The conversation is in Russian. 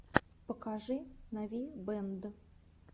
покажи навибэнд